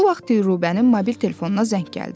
Bu vaxt Rubənin mobil telefonuna zəng gəldi.